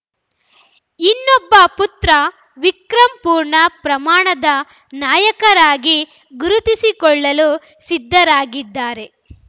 ಇನ್ನೊಬ್ಬ ಪುತ್ರ ವಿಕ್ರಮ್‌ ಪೂರ್ಣ ಪ್ರಮಾಣದ ನಾಯಕರಾಗಿ ಗುರುತಿಸಿಕೊಳ್ಳಲು ಸಿದ್ಧರಾಗಿದ್ದಾರೆ